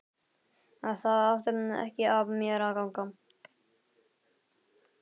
Það átti ekki af mér að ganga!